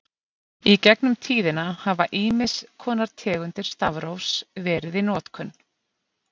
Í gegnum tíðina hafa ýmiss konar tegundir stafrófs verið í notkun.